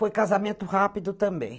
Foi casamento rápido também.